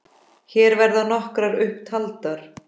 Hér verða nokkrar upp taldar